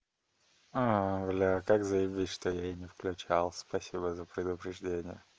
бля как заебись что я и не включал спасибо за предупреждение